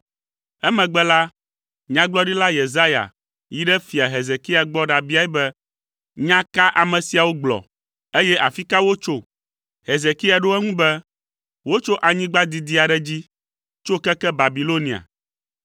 Emegbe la, Nyagblɔɖila Yesaya yi ɖe Fia Hezekia gbɔ ɖabiae be, “Nya ka ame siawo gblɔ, eye afi ka wotso?” Hezekia ɖo eŋu be, “Wotso anyigba didi aɖe dzi, tso keke Babilonia.”